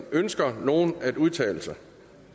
ønsker nogen at udtale sig